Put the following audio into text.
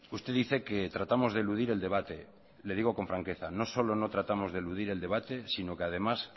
usted dice que tratamos de eludir el debate le digo con franqueza no solo no tratamos de eludir el debate sino que además